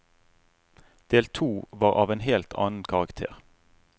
Del to var av en helt annen karakter.